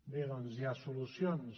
bé doncs hi ha solucions